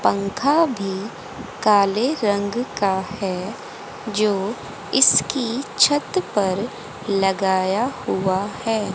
पंखा भी काले रंग का है जो इसकी छत पर लगाया हुआ है।